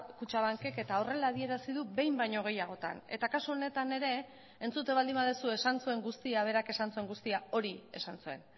kutxabankek eta horrela adierazi du behin baino gehiagotan eta kasu honetan ere entzuten baldin baduzu esan zuen guztia berak esan zuen guztia hori esan zuen